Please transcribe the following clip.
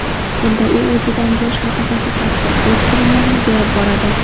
Bunda u o‘zidan yosh mutaxassislarga o‘z bilimlarini berib boradi.